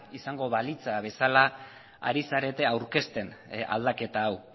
izango balitz bezala ari zarete aurkezten aldaketa hau